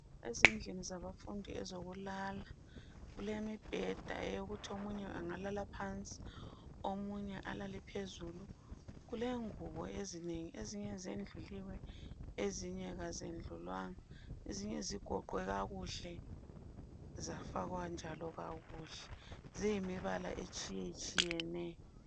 Ezindlini zabafundi ezokulala kulemibheda eyokuthi omunye engalala phansi omunye alale phezulu. Kulengubo ezinengi, ezinye zendluliwe, ezinye kazendlulwanga. Ezinye zigoqwe kakuhle zafakwa njalo kakuhle Ziyimibala etshiyetshiyeneyo.